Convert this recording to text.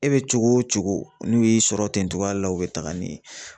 E bɛ cogo o cogo n'u y'i sɔrɔ ten cogoya la u bɛ taga n'i ye